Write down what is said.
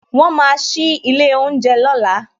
Won máa sí ilé oúnjẹ lọ́la